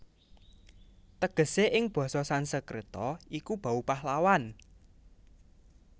Tegese ing basa Sansekreta iku bau pahlawan